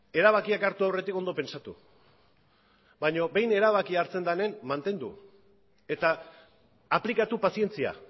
erabakiak hartu aurretik ondo pentsatu baina behin erabakia hartzen denean mantendu eta aplikatu pazientzia